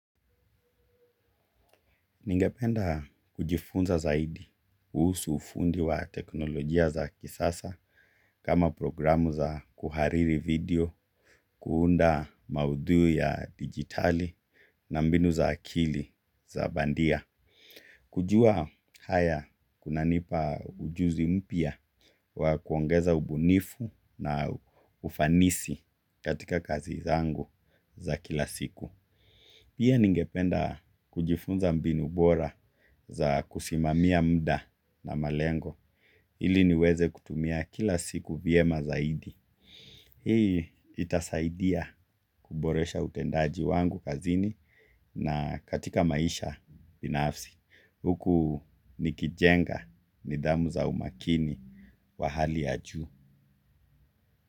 Ningependa kujifunza zaidi kuhusu ufundi wa teknolojia za kisasa kama programu za kuhariri video, kuunda maudhui ya dijitali na mbinu za akili za bandia. Kujua haya kuna nipa ujuzi mpya wa kuongeza ubunifu na ufanisi katika kazi zangu za kila siku. Pia ningependa kujifunza mbinu bora za kusimamia muda na malengo ili niweze kutumia kila siku vyema zaidi. Hii itasaidia kuboresha utendaji wangu kazini na katika maisha binafsi. Huku nikijenga nidhamu za umakini wa hali ya juu.